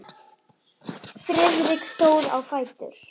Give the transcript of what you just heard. Friðrik stóð á fætur.